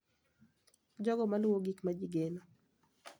Jogo ma luwo gik ma ji geno,